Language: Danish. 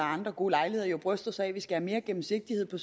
andre gode lejligheder bryster sig af at vi skal have mere gennemsigtighed